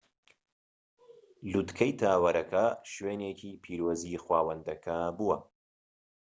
لووتکەی تاوەرەکە شوێنێکی پیرۆزی خوداوەندەکە بووە